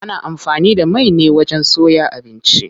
Ana amfani da mai ne wajen soya abinci.